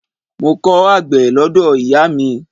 Mo kọ́ àgbẹ̀ lọ́dọ̀ ìyáà mi.